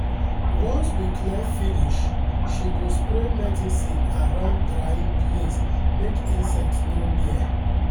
once we clear finish she go spray medicine around drying place make insect no near.